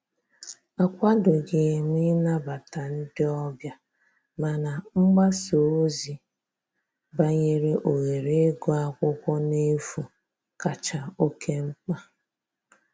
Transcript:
Akwadoghị m ịnabata ndị ọbịa, mana mgbasa ozi banyere ohere ịgụ akwụkwọ n'efu kacha oke mkpa